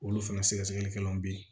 Olu fana sɛgɛsɛgɛlikɛlaw bɛ yen